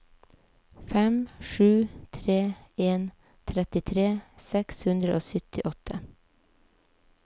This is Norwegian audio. fem sju tre en trettitre seks hundre og syttiåtte